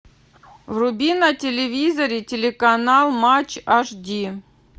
вруби на телевизоре телеканал матч аш ди